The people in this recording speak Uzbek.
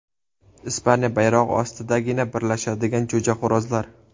Ispaniya bayrog‘i ostidagina birlashadigan jo‘jaxo‘rozlar.